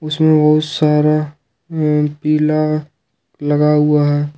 इसमें बहुत सारा पीला लगा हुआ है।